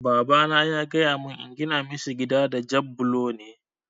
Babana ya gaya mun in gina mishi gida da jab bulo ne